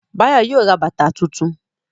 Báyọ̀ yóò ra bàbà tuntun